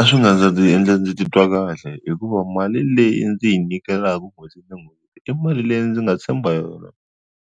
A swi nga endla ndzi titwa kahle hikuva mali leyi ndzi yi nyikelaka n'hweti na n'hweti i mali leyi ndzi nga tshemba yona